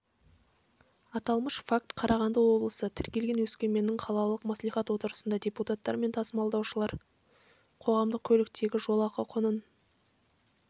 аталмыш факт қарағанды облысы тіркелген өскеменнің қалалық мәслихат отырысында депутаттар мен тасымалдаушылар қоғамдық көліктегі жолақы құнын